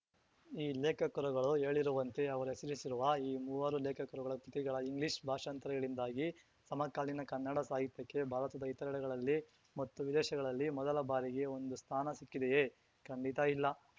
ಈ ಲೇಖಕರುಗಳು ಹೇಳಿರುವಂತೆ ಅವರು ಹೆಸರಿಸಿರುವ ಈ ಮೂವರು ಲೇಖಕರುಗಳ ಕೃತಿಗಳ ಇಂಗ್ಲಿಷ್‌ ಭಾಷಾಂತರಗಳಿಂದಾಗಿ ಸಮಕಾಲೀನ ಕನ್ನಡ ಸಾಹಿತ್ಯಕ್ಕೆ ಭಾರತದ ಇತರೆಡೆಗಳಲ್ಲಿ ಮತ್ತು ವಿದೇಶಗಳಲ್ಲಿ ಮೊದಲ ಬಾರಿಗೆ ಒಂದು ಸ್ಥಾನ ಸಿಕ್ಕಿದೆಯೆ ಖಂಡಿತ ಇಲ್ಲ